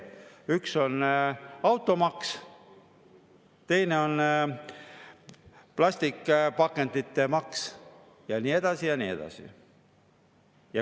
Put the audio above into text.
Üks on automaks, teine on plastikpakendite maks ja nii edasi ja nii edasi.